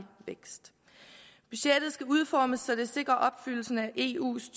vækst budgettet skal udformes så det sikrer opfyldelsen af eus